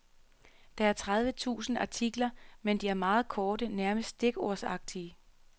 Der er tredive tusind artikler, men de er meget korte, nærmest stikordsagtige.